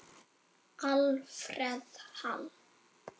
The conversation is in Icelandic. Alfreð Hall.